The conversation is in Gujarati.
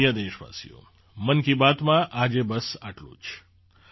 મારા પ્રિય દેશવાસીઓ મન કી બાતમાં આજે બસ આટલું જ